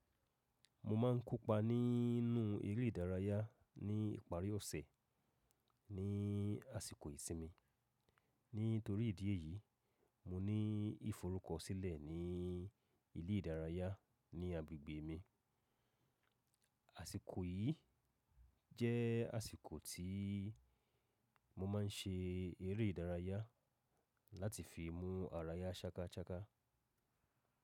Mo ma ń kópa nínú eré ìdárayá ní ìparí ọ̀sẹ̀ ní àsìkò ìsinmi. Nítorí ìdí èyí, mo ní ìforúkọ sílẹ̀ ní ilé ìdárayá ní agbègbè mi. Àsìkò yìí jẹ́ àsìkò tí mo ma ń ṣe eré ìdárayá láti fi mú ara ya ṣákáṣáká.